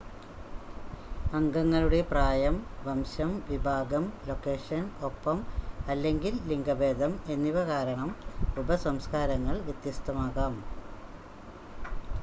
അംഗങ്ങളുടെ പ്രായം വംശം വിഭാഗം ലൊക്കേഷൻ ഒപ്പം/അല്ലെങ്കിൽ ലിംഗഭേദം എന്നിവ കാരണം ഉപസംസ്ക്കാരങ്ങൾ വ്യത്യസ്തമാകാം